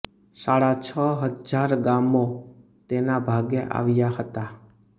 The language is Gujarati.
સાડા છ હજાર ગામો તેના ભાગે આવ્યા હતા